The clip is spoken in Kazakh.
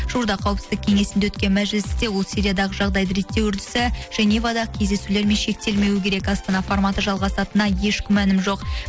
жуырда қауіпсіздік кеңесінде өткен мәжілісте ол сириядағы жағдайды реттеу үрдісі женевада кездесулермен шектелмеуі керек астана форматы жалғасатынына еш күмәнім жоқ